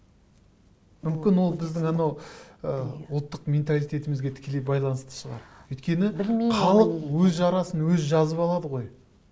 мүмкін ол біздің анау ы ұлттық менталитетімзге тікелей байланысты шығар өйткені халық өз жарасын өзі жазып алады ғой